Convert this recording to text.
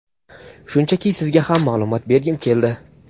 Shunchaki sizga ham maʼlumot bergim keldi.